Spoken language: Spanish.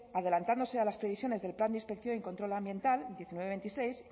adelantándose a las previsiones del plan de inspección y control ambiental diecinueve barra veintiséis